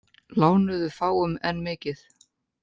Lánuðu fáum en mikið